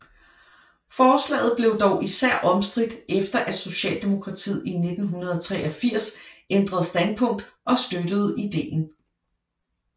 Forslaget blev dog især omstridt efter at Socialdemokratiet i 1983 ændrede standpunkt og støttede ideen